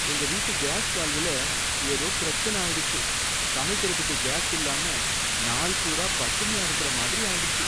எங்க வீட்டு கேஸ் வால்வுல ஏதோ பிரச்சனை ஆயிடுச்சு. சமைக்கிறதுக்கு கேஸ் இல்லாம நாள் பூரா பட்டினியா இருக்கிற மாதிரி ஆயிடுச்சு.